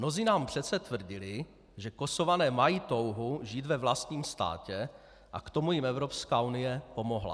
Mnozí nám přece tvrdili, že Kosované mají touhu žít ve vlastním státě, a k tomu jim Evropská unie pomohla.